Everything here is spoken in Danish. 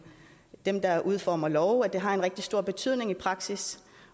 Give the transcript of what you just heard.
dem der udformer lovene at det har en rigtig stor betydning i praksis